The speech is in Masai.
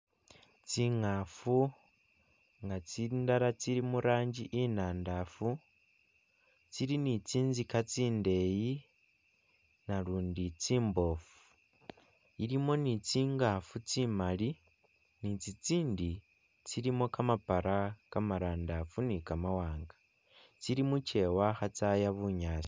Tsingafu nga tsindala tsili muranji inadafu, tsili ni'tsinstika tsindeyi nalundi tsimbofu, ilimo ni tsingafu tsimali nitsitsindi tsilimo kamapala kamarandafu ni kamawanga tsili mukewa khatsaya bunyaasi